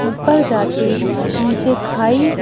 ऊपर जाके नीचे खाई --